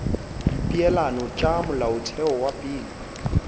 dipeelano tša molaotheo wa pele